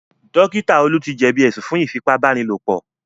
Dókítà Olú ti jẹ̀bí ẹ̀sùn fún Ífipá-báni-lòpọ̀